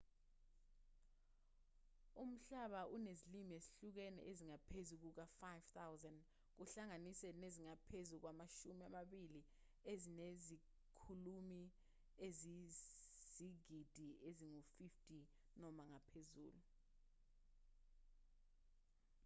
umhlaba unezilimi ezihlukene ezingaphezu kuka-5,000 kuhlanganise nezingaphezu kwamashumi amabili ezinezikhulumi eziyizigidi ezingu-50 noma ngaphezulu